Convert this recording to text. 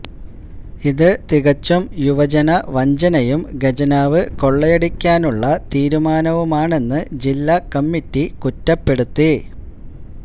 ഇത് തികച്ചും യുവജനവഞ്ചനയും ഖജനാവ് കൊളളയടിക്കാനുള്ള തീരുമാനവുമാണെന്ന് ജില്ലാ കമ്മറ്റി കുറ്റപ്പെടുത്തി